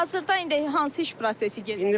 Hazırda indi hansı iş prosesi gedir?